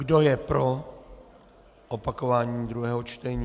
Kdo je pro opakování druhého čtení?